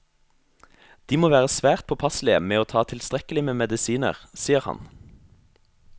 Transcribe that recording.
De må være svært påpasselige med ta tilstrekkelig med medisiner, sier han.